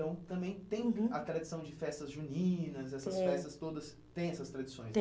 Então, também tem a tradição de festas juninas, tem, essas festas todas têm essas tradições